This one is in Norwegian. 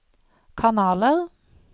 kanaler